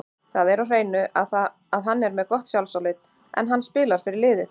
Það er á hreinu að hann er með gott sjálfsálit, en hann spilar fyrir liðið.